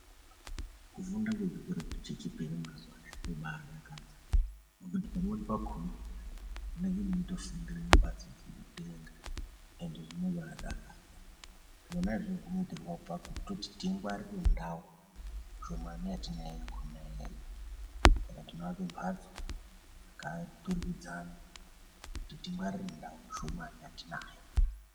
Kufunda kwechikora chechipiri mazuwanaya kwobadakadza ngekuti pamweni pakona munenge mweitofundira mumbatso dzemudenga ende zvinobadakadza. Zvona izvozvo zvinoitirwe pakuti tingwarire ndau shomani yatinayo iyoyo. Saka tinoake mbatso dzakaturikidzana kuti tingwarire ndau yetinayo shomani.